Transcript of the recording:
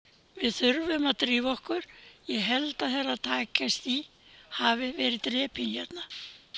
Við þurfum að drífa okkur, ég held að Herra Takashi hafi verið drepinn hérna.